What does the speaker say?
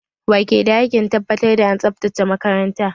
Wa ke da hakkin tabbatar da an tsabtace makaranta?